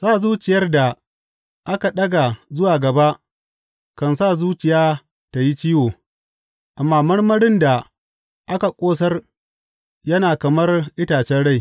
Sa zuciyar da aka ɗaga zuwa gaba kan sa zuciya tă yi ciwo, amma marmarin da aka ƙosar yana kamar itacen rai.